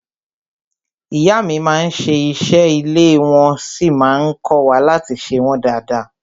Ìyá mi má n ṣe ìṣe ilé wọ́n sí má n kọ́wa láti ṣe wọ́n dada.